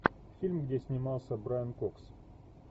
фильм где снимался брайан кокс